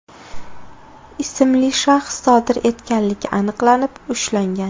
ismli shaxs sodir etganligi aniqlanib, ushlangan.